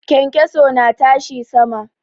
Kyankyaso na tashi sama.